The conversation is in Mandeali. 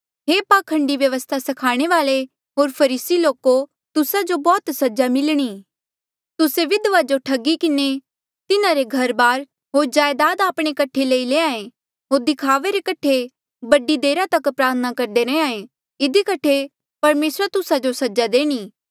हे पाखंडी व्यवस्था स्खाणे वाल्ऐ होर फरीसी लोको तुस्सा जो बौह्त सजा मिलणी तुस्से विधवा जो ठगी किन्हें तिन्हारे घरबार होर जायदाद आपणे कठे लई लैंहां ऐें होर दिखावे रे कठे बड़ी देरा तक प्रार्थना करदे रैंहयां ऐें इधी कठे परमेसरा तुस्सा जो सजा देणी